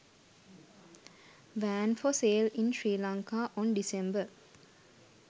van for sale in sri lanka on December